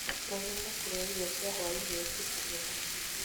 Menyerera kũrĩa irio cia hwainĩ ũtukũ mũno.